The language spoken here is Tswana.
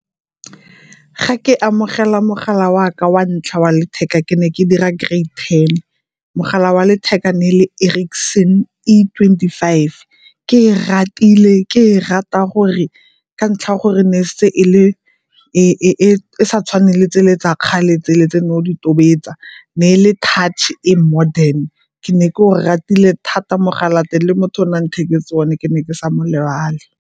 Ga ke amogela mogala waka wa ntlha wa letheka ke ne ke dira grade ten. Mogala wa letheka ne le Erricsson E twenty five, ke e ratile ke e rata gore ka ntlha ya gore ne e se e le, e sa tshwane le tsele tsa kgale tse le tse ne o di tobetsa. Ne e le touch-e e modern, ke ne ke o ratile thata mogala wa teng le motho o ntheketseng one ke ne ke sa mo lebale.